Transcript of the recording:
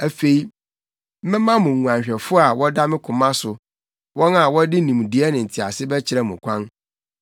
Afei mɛma mo nguanhwɛfo a wɔda me koma so, wɔn a wɔde nimdeɛ ne ntease bɛkyerɛ mo ɔkwan.